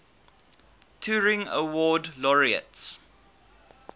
turing award laureates